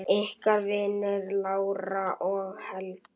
Ykkar vinir, Lára og Helgi.